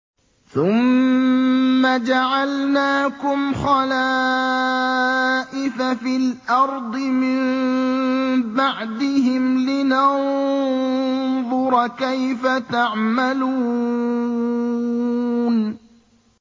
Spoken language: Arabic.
ثُمَّ جَعَلْنَاكُمْ خَلَائِفَ فِي الْأَرْضِ مِن بَعْدِهِمْ لِنَنظُرَ كَيْفَ تَعْمَلُونَ